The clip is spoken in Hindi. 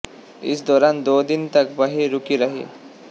इस दौरान दो दिन तक वहीं रूकी रही